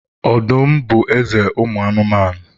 Ọdụm bụ eze ụmụ anụmanụ